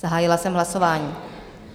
Zahájila jsem hlasování.